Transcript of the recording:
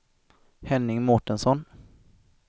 Henning Mårtensson